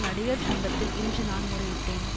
நடிகர் சங்கத்தில் இன்று நான் முறையிட்டேன்